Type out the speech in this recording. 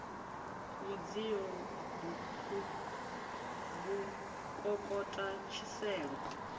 mudzio b u kokota tshiselo